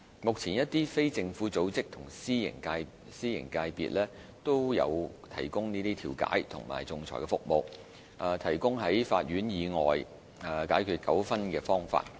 目前一些非政府組織和私營界別均有提供調解和仲裁服務，提供在法院以外解決糾紛的方法。